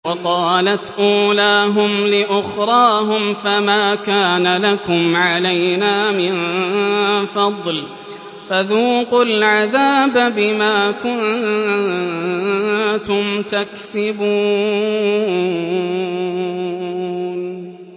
وَقَالَتْ أُولَاهُمْ لِأُخْرَاهُمْ فَمَا كَانَ لَكُمْ عَلَيْنَا مِن فَضْلٍ فَذُوقُوا الْعَذَابَ بِمَا كُنتُمْ تَكْسِبُونَ